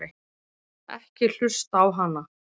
Ekki hlusta á hana!